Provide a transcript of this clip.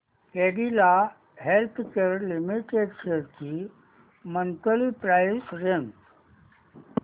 Cadila healthcare limited shares ची monthly price range